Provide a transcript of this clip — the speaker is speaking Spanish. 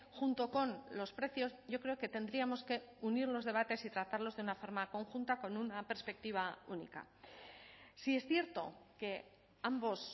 junto con los precios yo creo que tendríamos que unir los debates y tratarlos de una forma conjunta con una perspectiva única sí es cierto que ambos